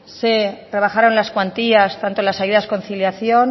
se rebajaron las cuantías tanto de las ayudas conciliación